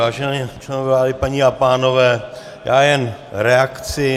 Vážení členové vlády, paní a pánové já jen reakci.